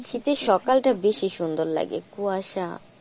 শীতের সকাল টা বেশি সুন্দর লাগে, কুয়াশা।